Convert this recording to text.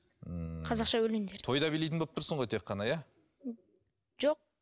ммм қазақша өлеңдерді тойда билейтін болып тұрсың ғой тек қана иә жоқ